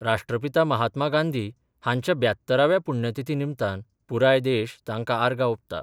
राष्ट्रपिता महात्मा गांधी हांच्या ब्यात्तरव्या पुण्यतिथी निमतान पुराय देश तांकां आर्गां ओंपता.